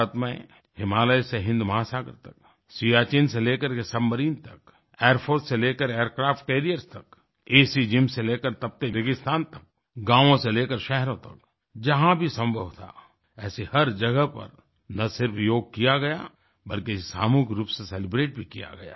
भारत में हिमालय से हिन्द महासागर तक सियाचिन से लेकर सबमरीन तक एयरफोर्स से लेकर एयरक्राफ्ट कैरियर्स तक एसी जिम्स से लेकर तपते रेगिस्तान तक गांवो से लेकर शहरों तक जहां भी संभव था ऐसी हर जगह पर ना सिर्फ योग किया गया बल्कि इसे सामूहिक रूप से सेलिब्रेट भी किया गया